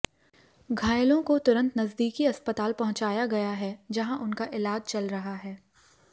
घायलों को तुरंत नजदीकी अस्पताल पहुंचाया गया है जहां उनका इलाज चल रहा है